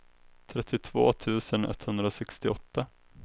trettiotvå tusen etthundrasextioåtta